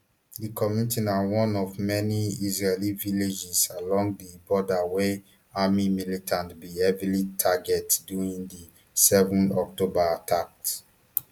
di community na one of many israeli villages along di border wey armed militants bin heavily target during di seven october attacks